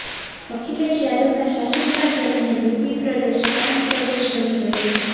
અખિલેશ યાદવના શાસનકાળ દરમિયાન યૂપી પ્રદેશ ક્રાઇમ પ્રદેશ બની ગયો છે